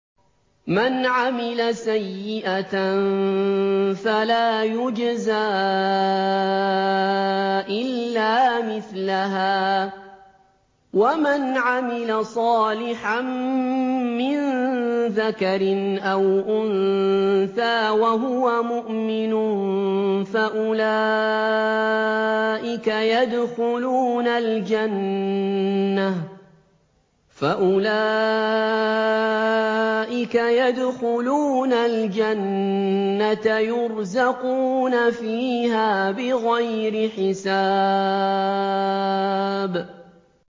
مَنْ عَمِلَ سَيِّئَةً فَلَا يُجْزَىٰ إِلَّا مِثْلَهَا ۖ وَمَنْ عَمِلَ صَالِحًا مِّن ذَكَرٍ أَوْ أُنثَىٰ وَهُوَ مُؤْمِنٌ فَأُولَٰئِكَ يَدْخُلُونَ الْجَنَّةَ يُرْزَقُونَ فِيهَا بِغَيْرِ حِسَابٍ